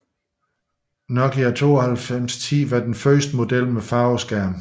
Nokia 9210 var den første model med farveskærm